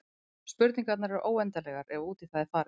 Spurningarnar eru óendanlegar ef út í það er farið.